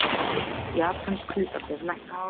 Japönsk hlutabréf lækka